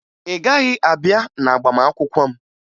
Ị gaghị abịa n'agbamakwụkwọ m